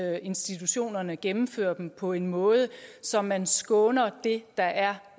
at institutionerne gennemfører dem på en måde så man skåner det der er